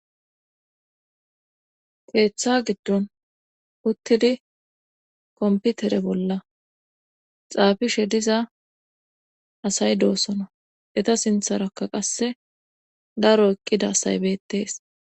keeththa giddon uttidi komputere bolla xaafishe diza asay doosona eta sintharakka qasse daro eqqida asaybettees